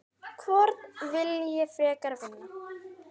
Hvorn vil ég frekar vinna?